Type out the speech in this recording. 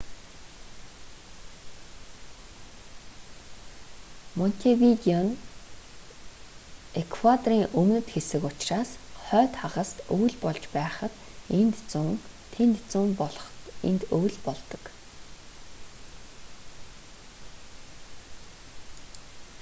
монтевидео нь эквадорын өмнөд хэсэг учраас хойд хагаст өвөл болж байхад энд зун тэнд зун болоход энд өвөл болдог